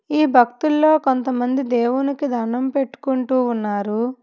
ఈ భక్తుల్లో కొంతమంది దేవునికి దణ్ణం పెట్టుకుంటూ ఉన్నారు.